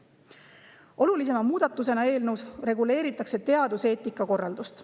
Olulisima muudatusena eelnõus reguleeritakse teaduseetika korraldust.